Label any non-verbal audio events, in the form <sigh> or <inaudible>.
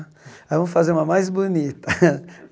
Ah vamos fazer uma mais bonita. <laughs>